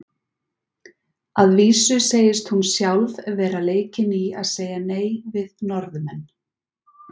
Að vísu segist hún sjálf vera leikin í að segja nei við Norðmenn.